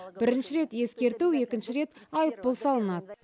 бірінші рет ескерту екінші рет айыппұл салынады